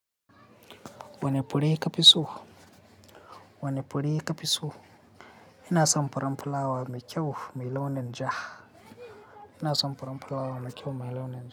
Wane fure ka fi so? Wane fure ya fi so? Ina son furen fulawa mai kyau mai launin ja. Ina son furen fulawa mai kyau mai launin ja.